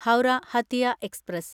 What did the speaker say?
Howrah Hatia express